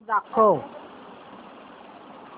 show दाखव